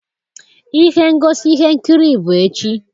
ihe ngosi ihe nkiri bụ echi